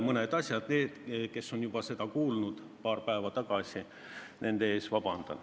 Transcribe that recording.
Palun vabandust neilt, kes on seda kõike juba kuulnud paar päeva tagasi.